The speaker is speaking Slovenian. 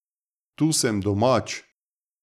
Tu sem domač.